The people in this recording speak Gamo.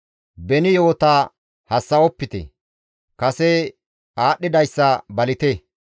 «Beni yo7ota hassa7opite; kase aadhdhidayssa balite.